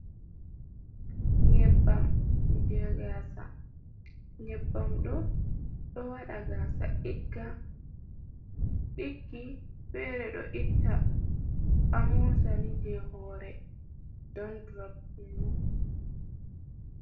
nyebbam je gasa. Nyebbam ɗo. Ɗo waɗa gasa ɗiggi fere ɗo itta amosani je hore ɗanɗur kenan.